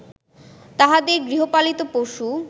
তাঁহাদের গৃহপালিত পশু